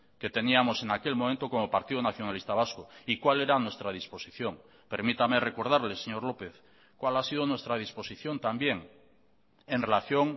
que teníamos en aquel momento como partido nacionalista vasco y cuál era nuestra disposición permítame recordarle señor lópez cuál ha sido nuestra disposición también en relación